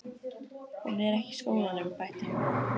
Hún er ekki í skólanum, bætti hún við.